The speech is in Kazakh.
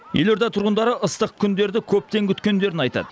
елорда тұрғындары ыстық күндерді көптен күткендерін айтады